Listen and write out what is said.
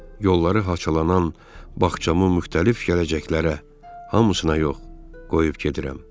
Yolları haçalanan bağçamı müxtəlif gələcəklərə, hamısına yox, qoyub gedirəm.